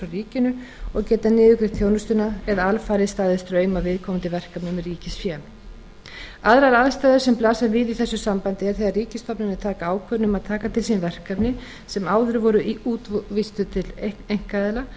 geta niðurgreitt þjónustuna eða alfarið staðið straum af viðkomandi verkefnum með ríkisfé aðrar aðstæður sem blasa við í þessu sambandi er þegar ríkisstofnanir taka ákvörðun um að taka til sín verkefni sem áður voru útvistuð til einkaaðila